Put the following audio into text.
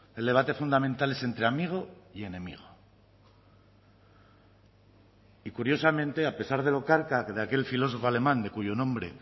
el debate fundamental es entre amigo y enemigo y curiosamente a pesar de lo carca de aquel filósofo alemán de cuyo nombre